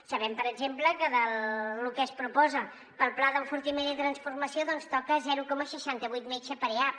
sabem per exemple que de lo que es proposa per al pla d’enfortiment i transformació doncs toca zero coma seixanta vuit metge per eap